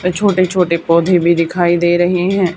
वे छोटे छोटे पौधे भी दिखाई दे रहे हैं।